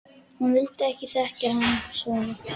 Hann vildi ekki þekkja hann svona.